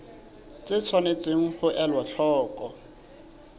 tse tshwanetseng ho elwa hloko